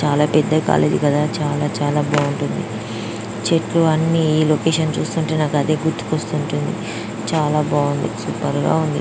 చాల పెద్ద కాలేజీ కదా. చాల చాల బాగుంటుంది . చెట్లు అన్ని ఈ లొకేషన్ చూస్తుంటే నాకు అదే గుర్తుకొస్తుంటుంది . చాల బాగుంది. సూపర్ గ ఉంది.